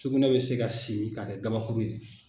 Sugunɛ bɛ se ka simi ka kɛ gabakuru ye.